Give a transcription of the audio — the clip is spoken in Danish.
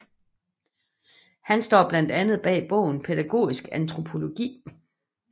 Han står blandt andet bag bogen Pædagogisk antropologi